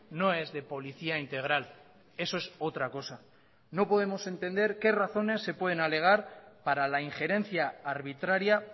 no es de policía integral eso es otra cosa no podemos entender qué razones se pueden alegar para la injerencia arbitraria